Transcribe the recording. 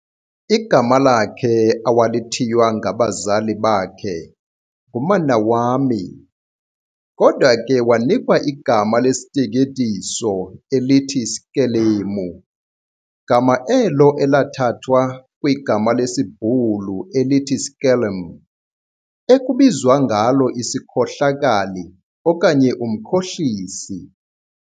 Igama lakhe awalithiywa ngabazali bakhe nguManawami, kodwa ke wanikwa igama lesiteketiso elithi Skelemu, gama elo elathathwa kwigama lesiBhulu elithi "skelm", ekubizwa ngalo isikhohlakali okanye umkhohlisi.